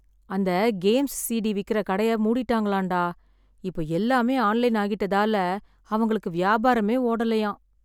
அந்த games CD விக்கிற கடைய மூடிட்டாங்களாம் டா. இப்போ எல்லாமே ஆன்லைன் ஆகிட்டதால அவங்களுக்கு வியாபாரமே ஓடலையாம்.